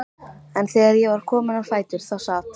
En þegar ég var komin á fætur þá sat